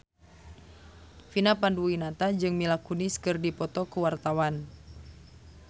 Vina Panduwinata jeung Mila Kunis keur dipoto ku wartawan